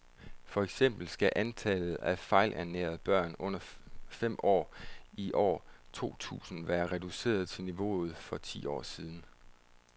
For eksempel skal antallet af fejlernærede børn under fem år i år to tusind være reduceret til niveauet for for ti år siden.